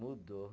Mudou.